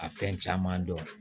A fɛn caman dɔn